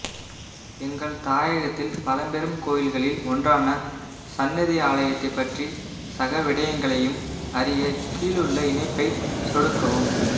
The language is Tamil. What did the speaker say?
எங்கள் தாயகத்தில் பழம்பெரும் கோயில்களில் ஒன்றான சன்னதி ஆலயத்தைப் பற்றி சகவிடயங்களயும் அறிய கீழுள்ள இணைப்பை சொடுக்கவும்